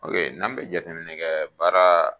n'an be jateminɛ kɛ baara